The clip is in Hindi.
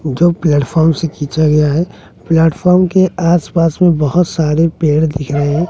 जो प्लेटफार्म से खींचा गया है प्लेटफार्म के आस पास में बहोत सारे पेड़ दिख रहे--